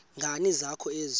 nkani zakho ezi